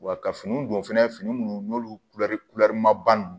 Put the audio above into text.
Wa ka finiw don fɛnɛ fini munnu n'olu ma ban